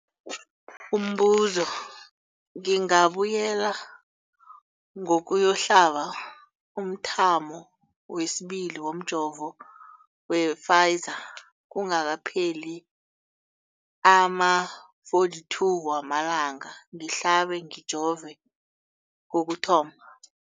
Umbuzo, ngingabuyela ngiyokuhlaba umthamo wesibili womjovo we-Pfizer kungakapheli ama-42 wamalanga ngihlabe, ngijove kokuthoma.